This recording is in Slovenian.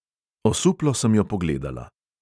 Osuplo sem jo pogledala.